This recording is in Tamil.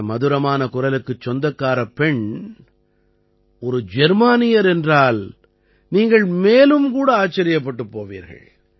இந்த மதுரமான குரலுக்குச் சொந்தக்காரப் பெண் ஒரு ஜெர்மானியர் என்றால் நீங்கள் மேலும் கூட ஆச்சரியப்பட்டுப் போவீர்கள்